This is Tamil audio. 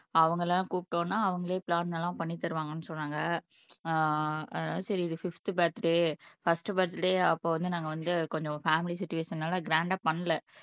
அவங்கெல்லாம் கூப்பிட்ட உடனே அவங்களே பிளான் எல்லாம் பண்ணி தருவாங்கன்னு சொன்னாங்க ஆஹ் அதா சரி இது பிப்த் பர்த்டே பர்ஸ்ட் பர்த்டே அப்போ வந்து நாங்க வந்து கொஞ்சம் பேமிலி சிச்சுவேஷன்னால கிராண்ட்டா பண்ணல